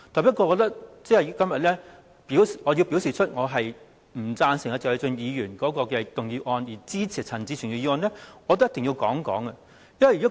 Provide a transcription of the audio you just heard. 不過，如果我要反對謝偉俊議員的議案，並支持陳志全議員的議案，我便一定要解釋。